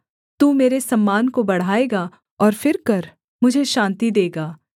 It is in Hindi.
तू मेरे सम्मान को बढ़ाएगा और फिरकर मुझे शान्ति देगा